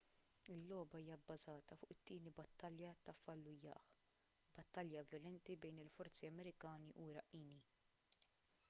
il-logħba hija bbażata fuq it-tieni battalja ta' fallujah battalja vjolenti bejn il-forzi amerikani u iraqqini